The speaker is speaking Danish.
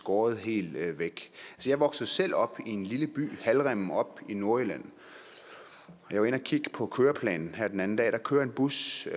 skåret helt væk jeg voksede selv op i en lille by halvrimmen oppe i nordjylland og jeg var inde at kigge på køreplanen her den anden dag der kører en bus